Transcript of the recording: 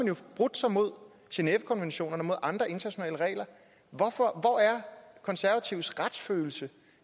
jo forbrudt sig imod genèvekonventionerne og andre internationale regler hvor er konservatives retsfølelse